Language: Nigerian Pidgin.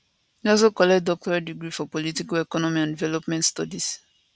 he also collect doctorate degree for political economy and development studies